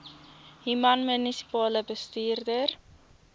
human munisipale bestuurder